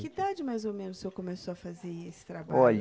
Que idade, mais ou menos, o senhor começou a fazer esse trabalho? Olhe